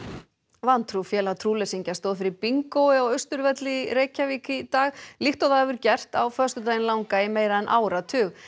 vantrú félag trúleysingja stóð fyrir bingói á Austurvelli í Reykjavík í dag líkt og það hefur gert á föstudaginn langa í meira en áratug